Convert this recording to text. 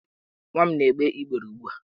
Nwa m na-egbe igbere ugbu a.